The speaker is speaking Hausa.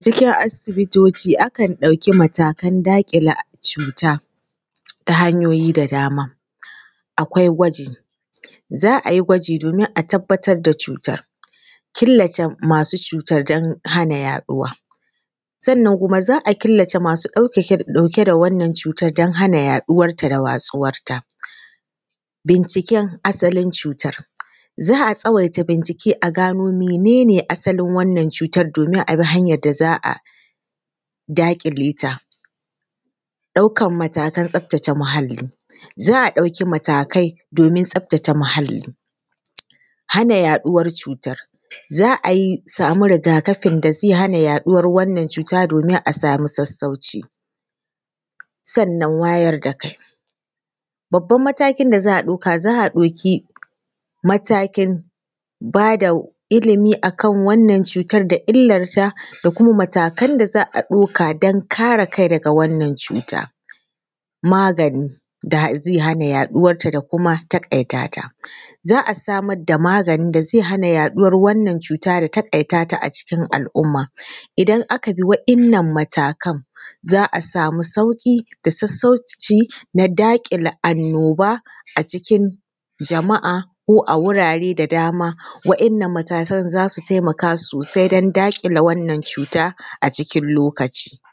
Cikin asibitoci akan ɗauki matakan daƙile cuta ta hanyoyi da dama. Akwai gwaji; Za a yi gwaji domin a tabbatar da cutar, killace masu cutar don hana yaɗuwa; sannan kuma za killace masu ɗauka ɗauke da wannan cutan don hana yaɗuwarta da watsuwarta. Binciken asalin cutar: Za a tsawaita bincike a gano minene asalin wannan cutar domin a bi hanyar da za a daƙile ta. Ɗaukar matakan tsaftace muhalli: Za a ɗauki matakai domin tsaftace muhalli. Hana yaɗuwar cutar: Za a yi sami ragakafin da zai hana yaɗuwar wannan cuta domin a samu sassauci. Sannan wayar da kai: Babban matakin da za a ɗauka, za a ɗauki matakin ba da ilimi akan wannan cutar da illar ta da kuma matakan da za a ɗauka dan kare kai daga wannan cuta. Magani da zai hana yaɗuwarta da kuma taƙaitata: Za a samar da magani da zai yaɗuwar wannan cuta da taƙaitata acikin al’umma. Idan aka bi wa’innan matakan za a sami sauƙi da sassauci na daƙile annoba acikin jama’a ko a wurare da dama. Wa’innan matakan za su taimaka sosai don daƙile wannan cuta acikin lokaci.